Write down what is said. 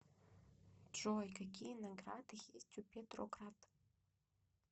джой какие награды есть у петроград